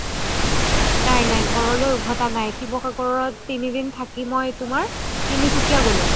নাই নাই ঘৰলৈ উভতা নাই শিৱসাগৰত তিনি দিন থাকি মই তিনসুকিয়া গ্'লো